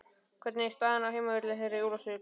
Hvernig er staðan á heimavelli þeirra í Ólafsvík?